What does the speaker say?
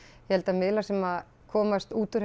ég held að miðlar sem komast út úr